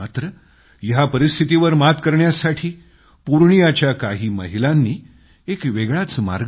मात्र या परिस्थितीवर मात करण्यासाठी पूर्णियाच्या काही महिलांनी एक वेगळाच मार्ग